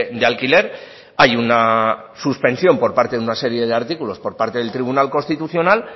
de alquiler hay una suspensión por parte de una serie de artículos por parte del tribunal constitucional